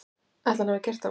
Ætli hann hafi gert það?